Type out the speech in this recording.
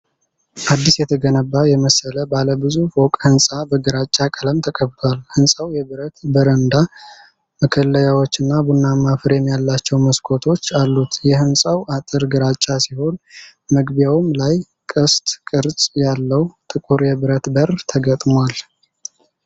አዲስ የተገነባ የመሰለ ባለ ብዙ ፎቅ ሕንፃ በግራጫ ቀለም ተቀብቷል። ሕንፃው የብረት በረንዳ መከለያዎችና ቡናማ ፍሬም ያላቸው መስኮቶች አሉት። የሕንፃው አጥር ግራጫ ሲሆን፣ መግቢያው ላይ ቅስት ቅርጽ ያለው ጥቁር የብረት በር ተገጥሟል።